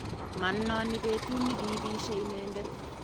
manoni betut ne kiibisie inendet